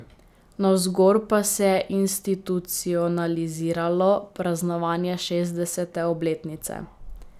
Navzgor pa se je institucionaliziralo praznovanje šestdesete obletnice.